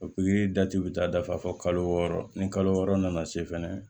O pikiri dati bɛ taa dafa fo kalo wɔɔrɔ ni kalo wɔɔrɔ nana se fɛnɛ